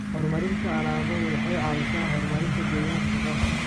Horumarinta alaabadu waxay caawisaa horumarinta deegaanka shaqada.